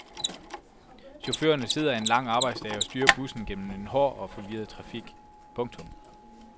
Chaufførerne sidder en lang arbejdsdag og styrer bussen gennem en hård og forvirret trafik. punktum